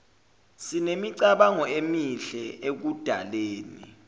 sinemicabango emihle ekudaleni